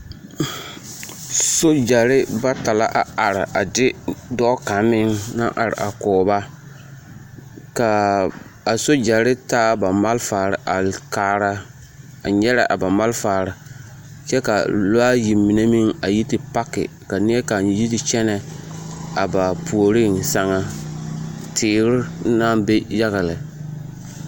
Sogyɛre bata la a are a de dɔɔ kaŋ meŋ naŋ are a kɔɔ ba ka a s sogyɛre taa ba malfare a kaara a nyɛrɛ a ba malfare kyɛ ka lɔɛ ayi mine meŋ a yi te paki ka neɛ kaŋa yi te kyɛnɛ a ba puoriŋ sɛŋ na teere naŋ be yaga lɛ.